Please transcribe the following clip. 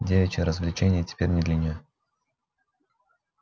девичьи развлечения теперь не для неё